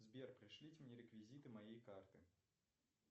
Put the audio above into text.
сбер пришлите мне реквизиты моей карты